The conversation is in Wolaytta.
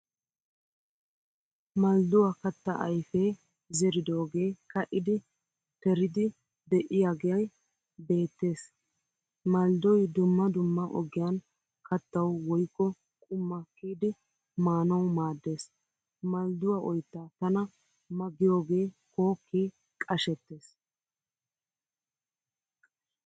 Maldduwaa katta ayfee zeridoge kaidi teriidi deiyage beetes. Malddoy dumma dumma ogiyan kattawu woykko qumma kiyidi maanawu maaddees. Maldduwaa oytta tana ma giyoge kooke qashshetees.